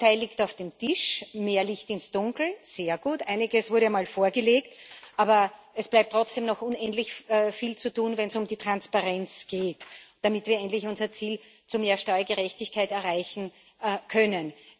Ein Teil liegt auf dem Tisch mehr Licht ins Dunkel sehr gut. Einiges wurde mal vorgelegt, aber es bleibt trotzdem noch unendlich viel zu tun, wenn es um die Transparenz geht, damit wir endlich unser Ziel mehr Steuergerechtigkeit erreichen können.